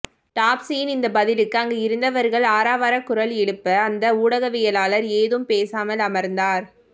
டாப்சியின் இந்த பதிலுக்கு அங்கு இருந்தவர்கள் ஆரவார குரல் எழுப்ப அந்த ஊடகவியலாளர் ஏதும் பேசாமல் அமர்ந்தார்